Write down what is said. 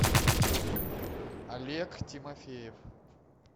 олег тимофеев